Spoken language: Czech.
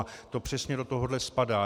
A to přesně do tohoto spadá.